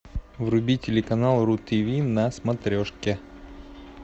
вруби телеканал ру тв на смотрешке